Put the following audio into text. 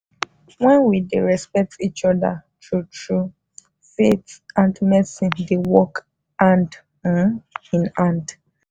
when we dey respect each other true-true faith and medicine dey work hand um in hand.